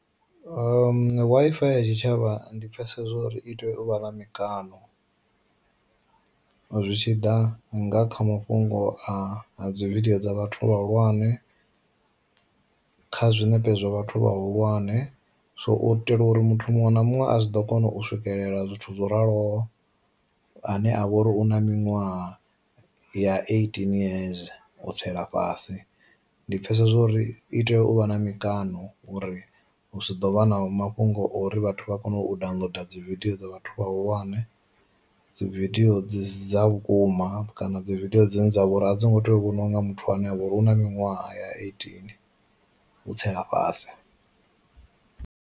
Wi-Fi ya tshi tshavha ndi pfesesa zwo uri itea u vha na mikano zwi tshiḓa nga kha mafhungo a dzi vidio dza vhathu vha hulwane, kha zwinepe zwa vhathu vha hulwane. So u itela uri muthu muṅwe na muṅwe a zwi ḓo kona u swikelela zwithu zwo raloho ane a vha uri u na miṅwaha ya eighteen yeze u tsela fhasi. Ndi pfesesa zwo uri i tea u vha na mikano uri hu si ḓo vha na mafhungo uri vhathu vha kone u downloader dzi vidio dza vhathu vha hulwane, dzi vidio dzi si dza vhukuma, kana dzi vidio dzine dza vhori a dzi ngo tea u vhoniwa nga muthu ane avha uri una miṅwaha ya eighteen u tsela fhasi.